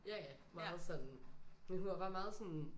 Ja ja meget sådan men hun var bare meget sådan